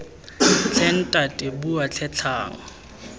tlhe ntate bua tlhe tlhang